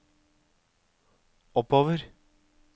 oppover